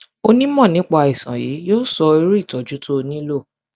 onímọ nípa àìsàn yìí yóò sọ irú ìtọjú tó o nílò